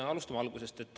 Alustame algusest.